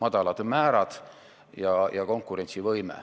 madalad määrad ja konkurentsivõime.